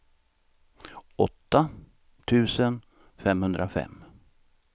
åtta tusen femhundrafem